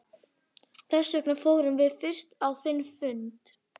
Þessvegna fórum við fyrst á þinn fund.